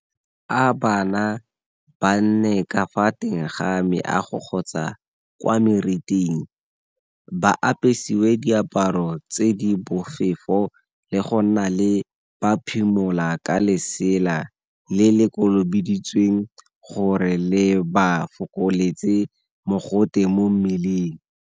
A bana ba nne ka fa teng ga meago kgotsa kwa meriting, ba apesiwe diaparo tse di bofefo le go nna le ba phimola ka lesela le le kolobeditsweng gore le ba fokoletse mogote mo mmeleng.